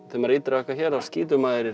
þegar maður ýtir á þetta hér þá skýtur maður